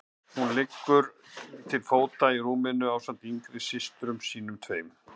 Hún liggur til fóta í rúminu ásamt yngri systrum sínum tveim.